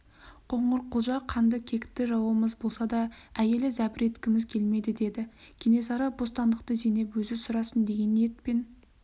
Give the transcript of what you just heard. қоңырқұлжа қанды кекті жауымыз болса да әйеліне зәбір еткіміз келмеді деді кенесары бостандықты зейнеп өзі сұрасын деген ниетпен